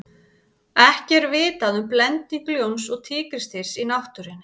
ekki er vitað um blending ljóns og tígrisdýrs í náttúrunni